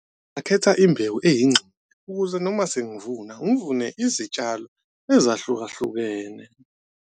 Ngakhetha imbewu ukuze noma sengivuna ngivune izitshalo ezahlukahlukene.